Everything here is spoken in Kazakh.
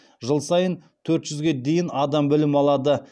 жыл сайын төрт жүзге дейін адам білім алады